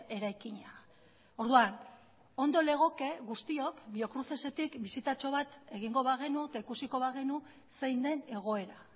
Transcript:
eraikina orduan ondo legoke guztiok biocrucesetik bisitatxo bat egingo bagenu eta ikusiko bagenu zein den egoera